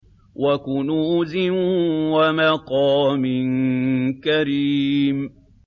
وَكُنُوزٍ وَمَقَامٍ كَرِيمٍ